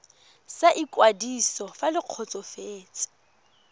sa ikwadiso fa le kgotsofetse